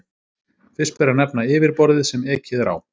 Fyrst ber að nefna yfirborðið sem ekið er á.